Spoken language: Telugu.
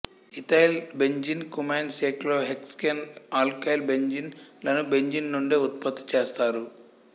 ethyl benzene cumene cyclohexane alkyl benzene లను బెంజీన్ నుండే ఉత్పత్తి చేస్తారు